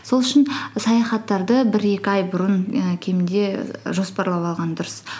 сол үшін саяхаттарды бір екі ай бұрын і кемінде жоспарлап алған дұрыс